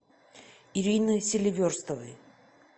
ирины селиверстовой